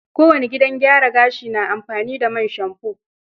Kowane gidan gyara gashi na amfani da man shamfo.